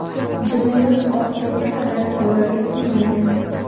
Jinoyat oxiriga qadar sodir etilmagan.